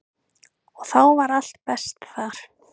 Og þá var allt best þar.